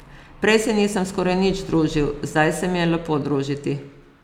Prej se nisem skoraj nič družil, zdaj se mi je lepo družiti.